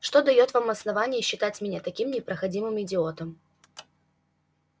что даёт вам основание считать меня таким непроходимым идиотом